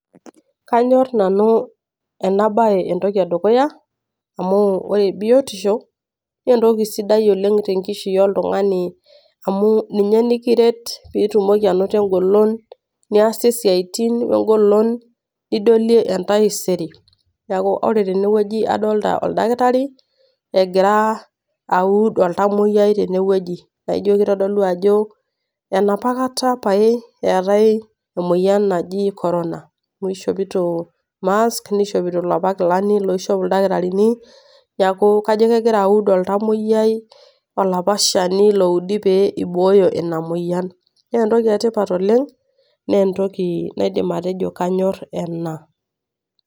Kaanyor nanu ena bae entoki e dukuya, amu ore biotisho naa entoki sidai oleng' te nkishui oltung'ani amu ninye nikiret pee itumoki ainoto engolon niasie isiaitin we engolon nidolie entaisere, neaku ore teinewueji adolita oldakitari egira aud oltamwoyia tene wueji naijo keitodolu ajo, enopakata pae eyatai emoyian naji korona, amu keishopito mask neishopito iloopa kilani loishop ildakitarini. Neaku kaijo kegira aud oltamwoyia olapa Shani loudi pee eibooyo Ina moyian. Naa entoki e tipat oleng', naa entoki naidim atejo kaanyor ena.